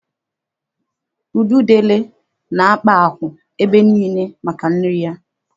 Ududele na-akpa akwụ̀ ebe niile maka nri ya.